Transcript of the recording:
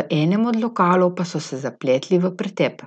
v enem od lokalov pa so se zapletli v pretep.